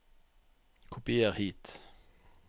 kopier hit